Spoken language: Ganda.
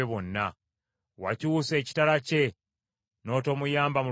Wakyusa ekitala kye n’otomuyamba mu lutalo.